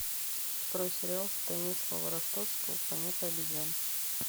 открой сериал станислава ростовского планета обезьян